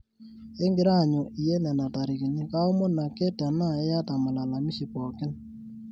ekigira aanyu iyie nena tarikini, kaomon ake tenaa iyata malalamishi pooki